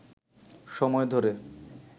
সময় ধরে